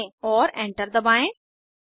और एंटर दबाएं